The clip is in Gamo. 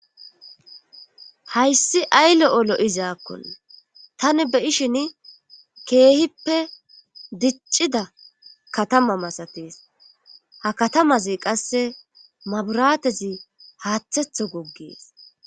Hayssi ayle7olo7izaakkonna tani beyishin keehippe diccida katama masatees ha katamazi qasse maburatezi haaththetho goggees